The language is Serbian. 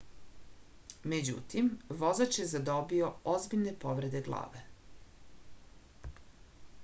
međutim vozač je zadobio ozbiljne povrede glave